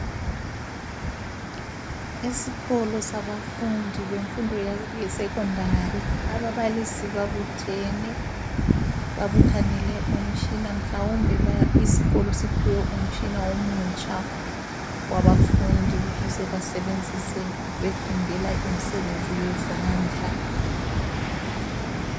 Esikolo sabafundi bemfundo ye Secondary ababalisi babuthene .Babuthanele umtshina mhlawumbe isikolo siphiwe umtshina omutsha wabafundi ukuze basebenzise befundela imsebenzi yezandla.